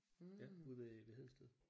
Ja ude ved ved Hedensted